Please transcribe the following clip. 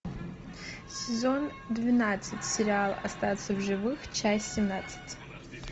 сезон двенадцать сериал остаться в живых часть семнадцать